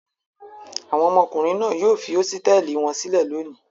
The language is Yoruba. Àwọn ọmọkùnrin náà yóò fi hósítẹ́ẹ́lì wọn sílẹ̀ lónìí.